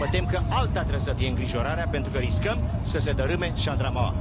Mă tem că alta trebuie să fie îngrijorarea, pentru că riscăm să se dărâme șandramaua.